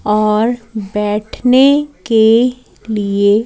और बैठने के लिए--